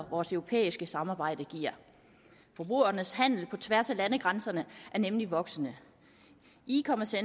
vores europæiske samarbejde giver forbrugernes handel på tværs af landegrænserne er nemlig voksende ecommerce